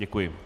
Děkuji.